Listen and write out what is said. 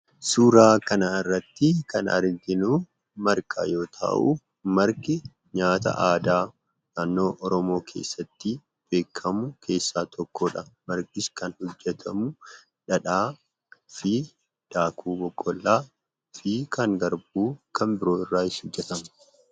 Suuraa kanarratti kan arginu Marqa yoo ta'u, Marqi nyaata aadaa naannoo Oromoo keessatti beekamu keessaa tokko dha. Marqis kan hojjetamu dhadhaa fi daakuu boqqolloo fi kan garbuu kan biroo irraa hojjetama.